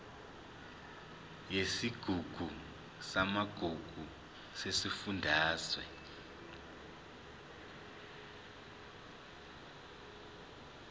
yesigungu samagugu sesifundazwe